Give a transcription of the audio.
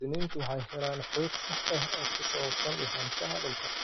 Muwaadiniintu waxay helaan xog sax ah oo ku saabsan lahaanshaha dhulka.